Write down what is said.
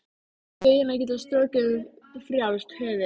Feginn að geta strokið um frjálst höfuð.